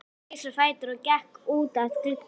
Hún reis á fætur og gekk út að glugga.